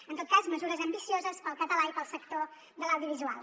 en tot cas mesures ambicioses per al català i per al sector de l’audiovisual